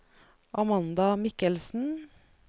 Amanda Mikkelsen